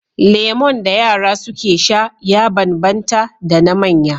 Lemon da yara suke sha ya banban ta da na manya